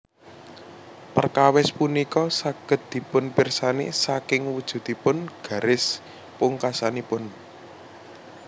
Perkawis punika saged dipunpirsani saking wujudipun garis pungkasanipun